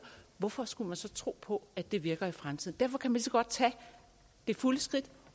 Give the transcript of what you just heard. hvorfor skulle man så tro på at det virker i fremtiden derfor kan man lige så godt tage det fulde skridt